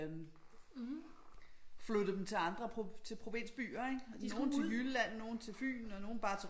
Øh flyttede dem til andre til provinsbyer ikke de skulle til Jylland nogle til Fyn og nogle bare til